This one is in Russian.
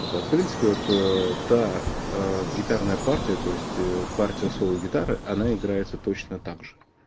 вот а принципе вот та гитарная партия то есть партия соло гитары она играется точно также